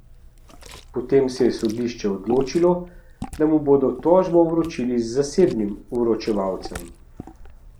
Potem se je sodišče odločilo, da mu bodo tožbo vročili z zasebnim vročevalcem.